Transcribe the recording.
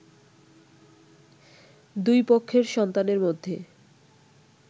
দুই পক্ষের সন্তানের মধ্যে